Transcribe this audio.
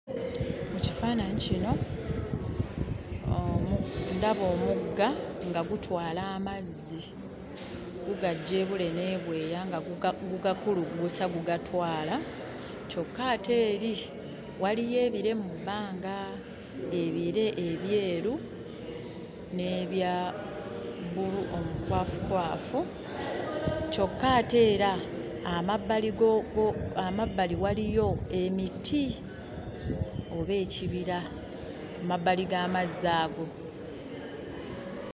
Mu kifaananyi kino omu ndaba omugga nga gutwala amazzi. Gugaggya ebule n'ebweya nga guga gugakuluggusa gugatwala. Kyokka ate eri waliyo ebire mu bbanga, ebire ebyeru n'ebya bbulu omukwafukwafu kyokka ate era amabbali go go amabbali waaliyo emiti oba ekibira ku mabbali g'amazzi ago.